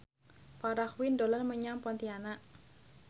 Farah Quinn dolan menyang Pontianak